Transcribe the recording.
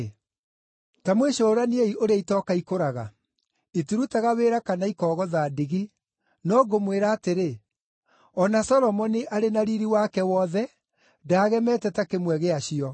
Ta mwĩcũraniei ũrĩa itoka ikũraga. Itirutaga wĩra kana ikogotha ndigi. No ngũmwĩra atĩrĩ, o na Solomoni arĩ na riiri wake wothe, ndaagemete ta kĩmwe gĩacio.